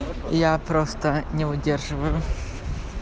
я просто не выдерживаю